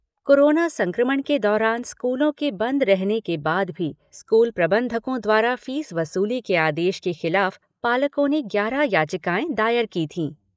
Corona संक्रमण के दौरान स्कूलों के बंद रहने के बाद भी स्कूल प्रबंधकों द्वारा फीस वसूली के आदेश के खिलाफ पालकों ने ग्यारह याचिकाएं दायर की थी।